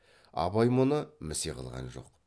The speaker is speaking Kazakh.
абай мұны місе қылған жоқ